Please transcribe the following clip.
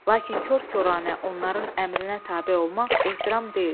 Lakin kor-koranə onların əmrinə tabe olmaq ehtiram deyil.